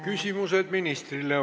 Küsimused ministrile.